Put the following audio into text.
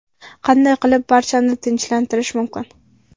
Qanday qilib barchani tinchlantirish mumkin?